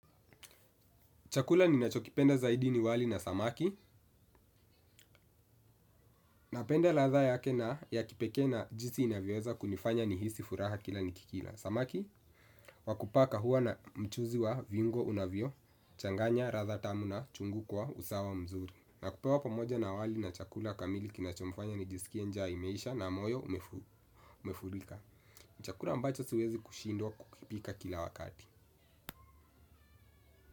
Chakula ninacho kipenda zaidi ni wali na samaki. Napenda ladha yake ya kipekee na jinsi inavyoweza kunifanya nihisi furaha kila nikikila. Samaki, wa kupaka huwa na mchuzi wa viungo unavyochanganya, ratha tamu na chungu kwa, usawa mzuri. Na kupewa pamoja na wali na chakula kamili kinachonifanya nijisikie nja imeisha na moyo umefurika. Chakula ambacho siwezi kushindwa kukipika kila wakati.